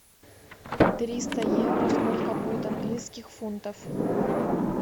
триста евро сколько будет английских фунтов